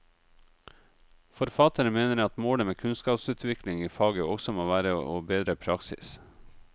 Forfatteren mener at målet med kunnskapsutvikling i faget også må være å bedre praksis.